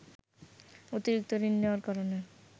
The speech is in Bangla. অতিরিক্ত ঋণ নেয়ার কারণে